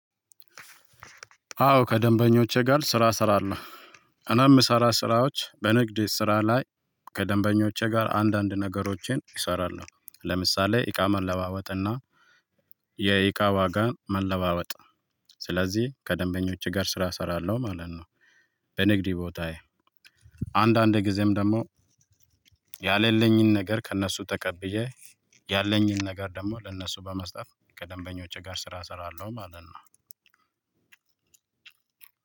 አዎ ከደንበኞቼ ጋር ስራ እሰራለው እኔ የምሰራ ስራዎች በንግድ ስራ ላይ። ከደንበኞቼ ጋር አንዳንድ ነገሮቼን እሰራለው ለምሳሌ ኢቃ መለዋወጥና የእቃ ዋጋ መለዋወጥ። ስለዚህ ከደንበኞች ጋር ስራ እሰራለሁ ማለት ነው። በንግድ ቦታዬ አንዳንድ ጊዜም ደግሞ ያሌለኝን ነገር ከእነሱ ተቀብዬ ያለኝን ነገር ደግሞ ለእነሱ በመስጠት ከደንበኞቼ ጋር ስራ እሰራለሁ ማለት ነው።